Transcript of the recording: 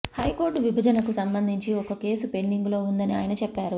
high court విభజనకు సంబందించి ఒక కేసు పెండింగులో ఉందని ఆయన చెప్పారు